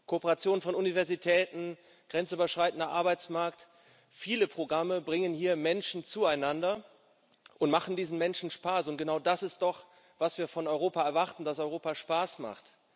Kooperationen von Universitäten, grenzüberschreitender Arbeitsmarkt, viele Programme bringen hier Menschen zueinander und machen diesen Menschen Spaß. Und genau das ist es doch, was wir von Europa erwarten dass Europa Spaß macht.